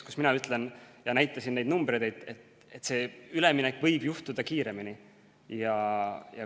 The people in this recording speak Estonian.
Mina ütlen, nagu ma näitasin ka neid numbreid, et see üleminek võib juhtuda kiiremini.